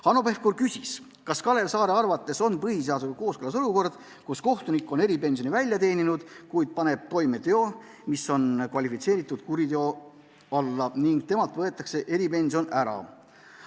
Hanno Pevkur küsis, kas Kalev Saare arvates on põhiseadusega kooskõlas olukord, kus kohtunik on eripensioni välja teeninud, kuid paneb toime teo, mis on kvalifitseeritud kuriteona, ning temalt võetakse eripension ära.